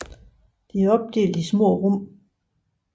De er opdelt i små rum